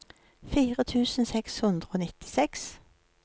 fire tusen seks hundre og nittiseks